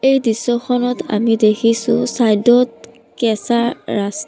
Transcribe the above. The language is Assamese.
এই দৃশ্যখনত আমি দেখিছোঁ ছাইড ত কেঁচা ৰাচ--